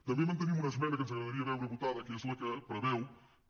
també mantenim una esmena que ens agradaria veure votada que és la que preveu que